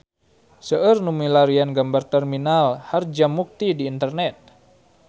Seueur nu milarian gambar Terminal Harjamukti di internet